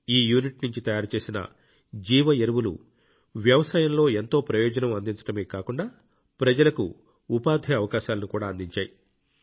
ఈ యూనిట్ నుంచి తయారు చేసిన జీవ ఎరువులు వ్యవసాయంలో ఎంతో ప్రయోజనం అందించడమే కాకుండా ప్రజలకు ఉపాధి అవకాశాలను కూడా అందించాయి